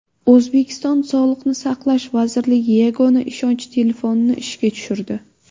O‘zbekiston Sog‘liqni saqlash vazirligi yagona ishonch telefonini ishga tushirdi.